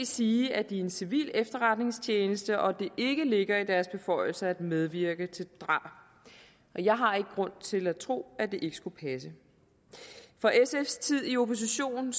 sige at de er en civil efterretningstjeneste og at det ikke ligger i deres beføjelser at medvirke til drab og jeg har ikke grund til at tro at det ikke skulle passe fra sfs tid i opposition